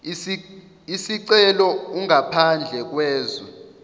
isicelo ungaphandle kwezwe